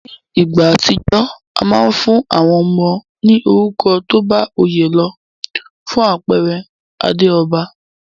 Ní ìgbà àtijó, a ma n fún àwon ọmọ ní orúkọ tóbá oyé lo. Fún àpere Adéòba